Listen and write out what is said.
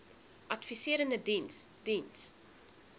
adviserende diens diens